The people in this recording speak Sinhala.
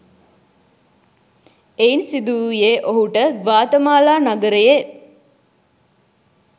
එයින් සිදු වූයේ ඔහුට ග්වාතමාලා නගරයේ